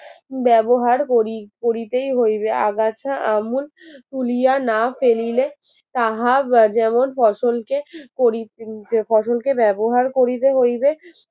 ব্যবহার করি করিতেই হইবে আগাছা আমূল তুলিয়া না ফেলিলে তাহা আহ যেমন ফসল কে করি ফসল কে ব্যবহার করিতে হইবে